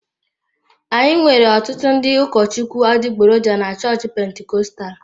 Anyị nwere ọtụtụ ndị ụkọchukwu adịgboroja na chọọchị Pentikọstal.